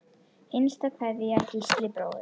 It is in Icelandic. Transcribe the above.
Hinsta kveðja, Gísli bróðir.